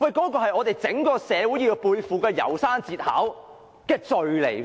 這是我們整個社會要背負《楢山節考》所述的